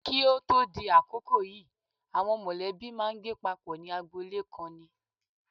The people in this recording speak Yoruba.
Kí o tó di àkókò yìí àwọn mọ̀lẹ́bí máa ń gbé papọ̀ ní agboolé kan ni.